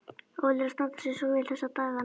Óli er að standa sig svo vel þessa dagana.